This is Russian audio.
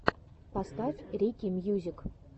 поставь рики мьюзик